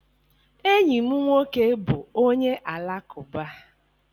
Enyi m nwoke bụ onye Alakụba